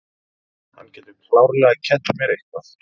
Hann getur klárlega kennt mér eitthvað.